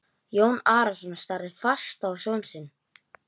Jón Arason starði fast á son sinn.